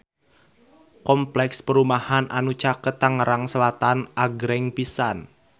Kompleks perumahan anu caket Tangerang Selatan agreng pisan